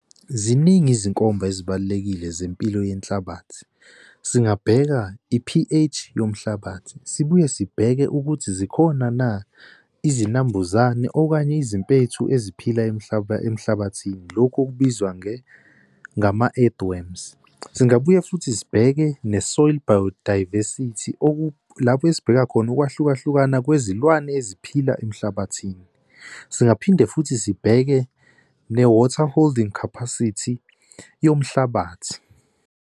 Ziningi izinkomba ezibalulekile zempilo yenhlabathi. Singabheka i-P_H yomhlabathi sibuye sibheke ukuthi zikhona na izinambuzane okanye izimpethu eziphila emhlabathini. Lokhu okubizwa ngama-egg worms. Singabuye futhi sibheke ne-soil biodiversity lapho esibheka khona u ukwahlukahlukana kwezilwane eziphila emhlabathini. Singaphinde futhi sibheke ne-water holding capacity yomhlabathi.